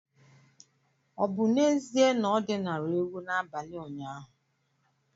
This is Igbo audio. Ọ̀ bụ n’ezie na o dinara ewu n’abalị ụnyaahụ?